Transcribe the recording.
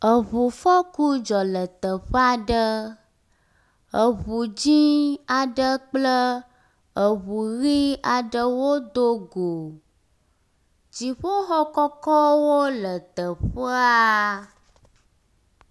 Eŋufɔku dzɔ le teƒe aɖe. Eŋu dzɛ̃ aɖe kple eŋu ʋi aɖe wodo go. Dziƒoxɔ kɔkɔwo aɖewo le teƒea.